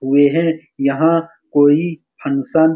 ये हैं यहाँ कोई फंक्शन --